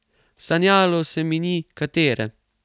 Sanjalo se mi ni, katere.